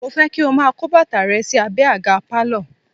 Mo fẹ́ kí o máa kó bàtà rẹ sí abẹ àga pálọ̀